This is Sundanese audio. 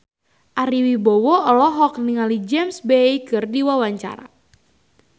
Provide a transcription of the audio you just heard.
Ari Wibowo olohok ningali James Bay keur diwawancara